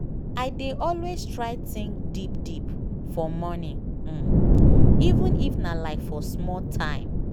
i dey always try think deep deep for morning um even if nah like for small time.